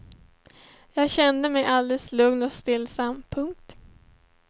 Jag kände mig alldeles lugn och stillsam. punkt